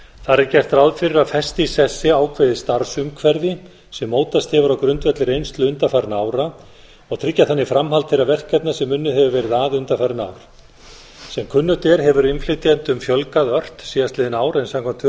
þar er gert ráð fyrir að festa í sessi ákveðið starfsumhverfi sem mótast hefur á grundvelli reynslu undanfarinna ára og tryggja þannig framhald þeirra verkefna sem unnið hefur verið að undanfarin ár sem kunnugt er hefur innflytjendum fjölgað ört síðastliðin ár en samkvæmt